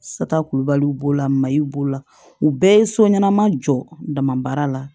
Sata kulubaliw b'o la mali b'o la u bɛɛ ye so ɲɛnɛma jɔ damabaara la